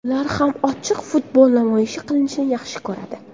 Ular ham ochiq futbol namoyish qilishni yaxshi ko‘radi.